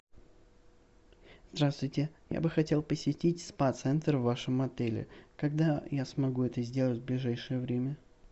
здравствуйте я бы хотел посетить спа центр в вашем отеле когда я смогу это сделать в ближайшее время